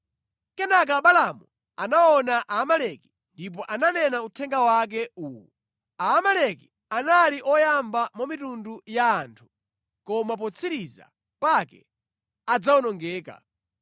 Kenaka Balaamu anaona Aamaleki ndipo ananena uthenga wake uwu: “Aamaleki anali oyamba mwa mitundu ya anthu koma potsiriza pake adzawonongeka.”